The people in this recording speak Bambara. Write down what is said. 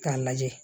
K'a lajɛ